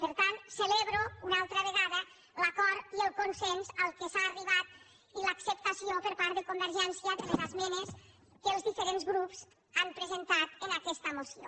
per tant celebro una altra vegada l’acord i el consens a què s’ha arribat i l’acceptació per part de convergència de les esmenes que els diferents grups han presentat a aquesta moció